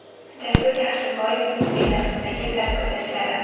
Jasur Yaxshiboyevning Belarusdagi sarguzashtlari.